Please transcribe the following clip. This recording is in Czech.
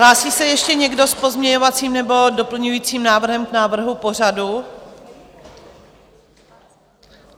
Hlásí se ještě někdo s pozměňovacím nebo doplňovacím návrhem k návrhu pořadu?